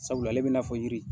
Sabula ale bina fɔ yiri